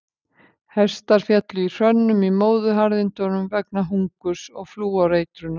Hestar féllu í hrönnum í Móðuharðindunum vegna hungurs og flúoreitrunar.